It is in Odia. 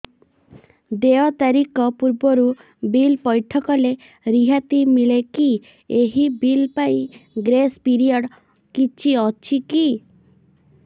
ଦେୟ ତାରିଖ ପୂର୍ବରୁ ବିଲ୍ ପୈଠ କଲେ ରିହାତି ମିଲେକି ଏହି ବିଲ୍ ପାଇଁ ଗ୍ରେସ୍ ପିରିୟଡ଼ କିଛି ଅଛିକି